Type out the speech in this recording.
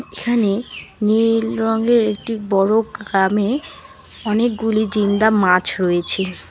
এখানে নীল রঙের একটি বড়ো গ্রামে অনেকগুলি জিন্দা মাছ রয়েছে।